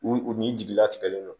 U u ni jigilatigɛlen don